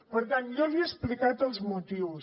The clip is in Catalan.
per tant jo li he explicat els motius